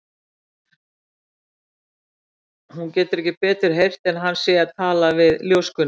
Hún getur ekki betur heyrt en hann sé að tala við ljóskuna.